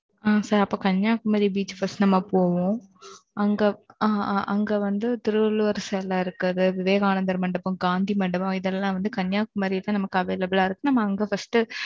ம், sir அப்ப Kanyakumari beach first நம்ம போவோம். okay அங்க, அ, அங்க வந்து, திருவள்ளுவர் சிலை இருக்கிறது. விவேகானந்தர் மண்டபம், காந்தி மண்டபம், இதெல்லாம் வந்து கன்னியாகுமரியில, நமக்கு available ஆ இருக்கு. நம்ம அங்க first உஹ்